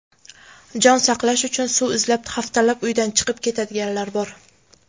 Jon saqlash uchun suv izlab haftalab uydan chiqib ketadiganlar bor.